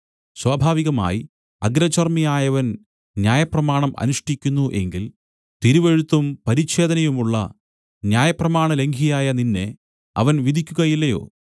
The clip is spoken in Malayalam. സ്വാഭാവികമായി അഗ്രചർമിയായവൻ ന്യായപ്രമാണം അനുഷ്ഠിക്കുന്നു എങ്കിൽ തിരുവെഴുത്തും പരിച്ഛേദനയുമുള്ള ന്യായപ്രമാണലംഘിയായ നിന്നെ അവൻ വിധിക്കുകയില്ലയോ